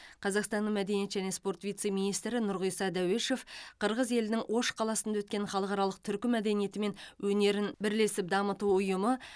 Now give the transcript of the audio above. қазақстанның мәдениет және спорт вице министрі нұрғиса дәуешов қырғыз елінің ош қаласында өткен халықаралық түркі мәдениеті мен өнерін бірлесіп дамыту ұйымы